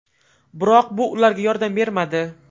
Biroq bu ularga yordam bermadi.